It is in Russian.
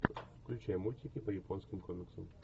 включай мультики по японским комиксам